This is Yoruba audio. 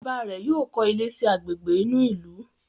bàbá rẹ yóò kọ ilé sí Àgbègbè inú ilu.